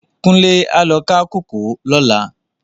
Kunle á lò ká kókòó lòlá